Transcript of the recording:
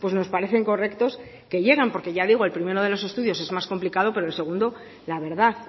nos parecen correctos que lleguen porque ya digo el primero de los estudios es más complicado pero el segundo la verdad